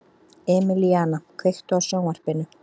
Emelíana, kveiktu á sjónvarpinu.